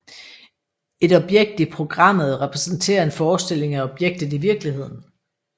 Et objekt i programmet repræsenterer en forestilling af objektet i virkeligheden